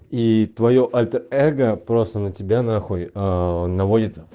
и твоё альтер эго просто на тебя нахуй аа наводит